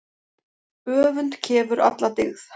Öfund kefur alla dyggð.